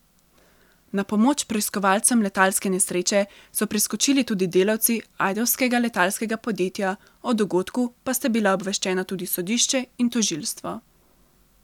Na pomoč preiskovalcem letalske nesreče so priskočili tudi delavci ajdovskega letalskega podjetja, o dogodku pa sta bila obveščena tudi sodišče in tožilstvo.